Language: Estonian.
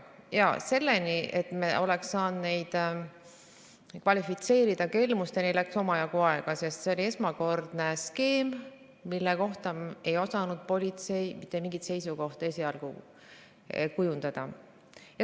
Kuid selleni, et me oleks saanud neid kvalifitseerida kelmusena, läks omajagu aega, sest see oli esmakordne skeem, mille kohta ei osanud politsei mitte mingit seisukohta esialgu kujundada.